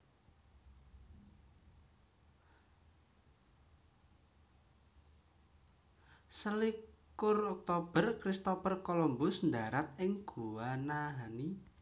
Selikur Oktober Christopher Columbus ndharat ing Guanahani